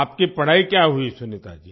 आपकी पढ़ाई क्या हुई सुनीता जी